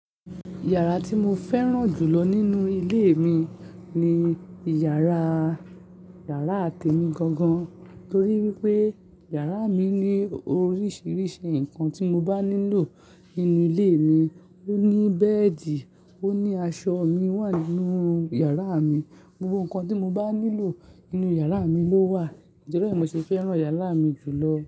Yàrá tí mo fẹ́ràn jù lọ nínú ilé mi ni yàrá, yàrá te mi gangan torí wípé yàrá mi ní oríṣiríṣi ǹkan tí mo bá nílò nínú ilé mi. Ó ní bẹ́ẹ̀dì, ó ní aṣọ mi wà nínú yàrá mi. Gbogbo ǹkan tí mo bá nílò nínú yàrá mi ló wà. Ǹtori e mo ṣe fẹ́ràn yàrá mi jù lọ.